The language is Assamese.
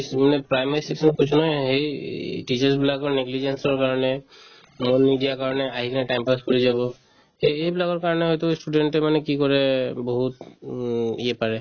কিছুমানত primary section ত কৈছো নহয় এই teachers বিলাক মানে চোৱাৰ কাৰণে মন নিদিয়া কাৰণে আহি কিনে time pass কৰি যাব সেই এইবিলাকৰ কাৰণে হয়তো student য়ে মানে কি কৰে এই বহুত উম ইয়ে পাৰে